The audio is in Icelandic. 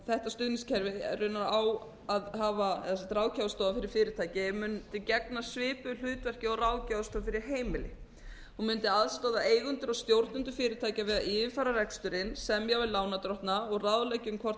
þetta stuðningskerfi raunar á að hafa eða ráðgjafarstofa fyrir fyrirtæki mundi gegna svipuðu hlutverki og ráðgjafarstofa fyrir heimili og mundi aðstoða eigendur og stjórnendur fyrirtækja við að yfirfara reksturinn semja við lánardrottna og ráðleggja um hvort